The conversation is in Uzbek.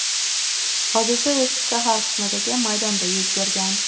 Hodisa eski shahar qismidagi maydonda yuz bergan.